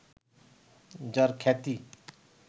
যাঁর খ্যাতি